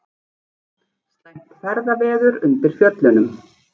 Slæmt ferðaveður undir Fjöllunum